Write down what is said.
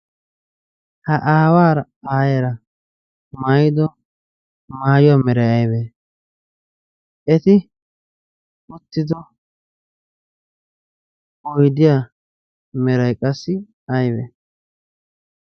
ha aawaara aayeera maido maayuwaa merai aybe eti uttido oydiyaa meray qassi aybe